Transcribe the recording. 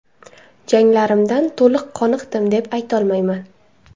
Janglarimdan to‘liq qoniqdim deb aytolmayman.